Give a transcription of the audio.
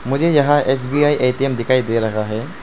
मुझे यहां S B I A T M दिखाई दे रहा है।